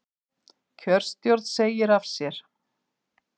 Kjörstjórn segir af sér